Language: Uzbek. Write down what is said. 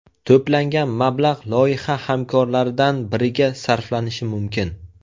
To‘plangan mablag‘ loyiha hamkorlaridan biriga sarflanishi mumkin.